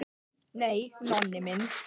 Nei, Nonni minn.